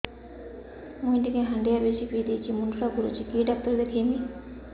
ମୁଇ ଟିକେ ହାଣ୍ଡିଆ ବେଶି ପିଇ ଦେଇଛି ମୁଣ୍ଡ ଟା ଘୁରୁଚି କି ଡାକ୍ତର ଦେଖେଇମି